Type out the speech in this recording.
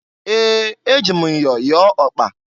Ee! Eji m myọ yọọ ọkpa.